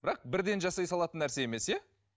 бірақ бірден жасай салатын нәрсе емес иә